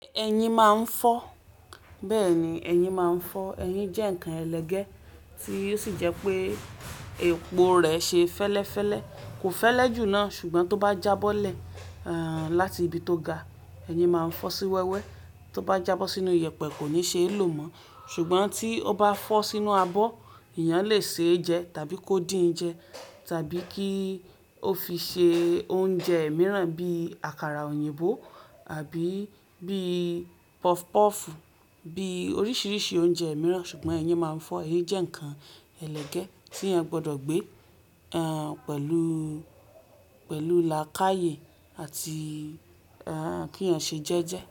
Ẹyin máa ń fọ́. Bẹ́ẹ̀ ni, ẹyin máa ń fọ́. Ẹyin jẹ́ ǹkan ẹlẹgẹ́ tí ó sì jẹ́ pé epo rẹ̀ ṣe fẹ́lẹ́fẹ́lẹ́. Kò fẹ́lẹ́ jù náà, ṣùgbọ́n tó bá jábọ́lẹ̀, àn, láti ibi tó ga, ẹyin máa ń fọ́ sí wẹ́wẹ́. Tó bá jábọ́ sínú iyẹ̀pẹ̀ kò ní ṣeé lò mọ́, ṣùgbọ́n tí ó bá fọ́ sínú abọ́, èèyàn lè ṣe é jẹ tàbí kó dín jẹ tàbí kí ó fi ṣe oúnjẹ mìíràn bí àkàrà òyìnbó àbí bí pọfupọ́ọ̀fùú, bí oríṣiríṣi oúnjẹ mìíràn. Ṣùgbọ́n ẹyin máa ń fọ́. Ẹyin jẹ́ ǹkan ẹlẹgẹ́ tí èèyàn gbọdọ̀ gbé, àn, pẹ̀lú, pẹ̀lú làákàyè àti, àn, kí èèyàn ṣe jẹ́ jẹ́